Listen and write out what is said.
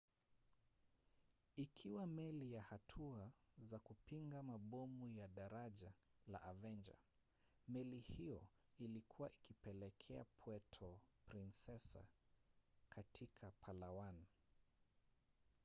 ikiwa meli ya hatua za kupinga mabomu ya daraja la avenger meli hiyo ilikuwa ikielekea puerto princesa katika palawan